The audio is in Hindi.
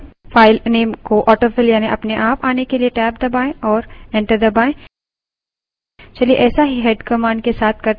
cat num file नेम को autofill यानि अपने आप आने के लिए टैब दबायें और enter दबायें